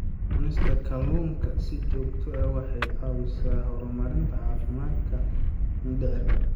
Cunista kalluunka si joogto ah waxay caawisaa horumarinta caafimaadka mindhicirka.